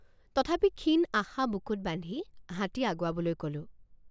তথাপি ক্ষীণ আশা বুকুত বান্ধি হাতী আগুৱাবলৈ কলোঁ।